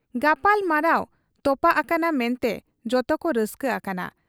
ᱜᱟᱯᱟᱞᱢᱟᱨᱟᱣ ᱛᱚᱯᱟᱜ ᱟᱠᱟᱱᱟ ᱢᱮᱱᱛᱮ ᱡᱚᱛᱚᱠᱚ ᱨᱟᱹᱥᱠᱟᱹ ᱟᱠᱟᱱᱟ ᱾